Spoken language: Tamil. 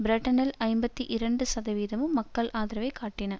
பிரிட்டனில் ஐம்பத்தி இரண்டு சதவிகிதமும் மக்கள் ஆதரவைக் காட்டின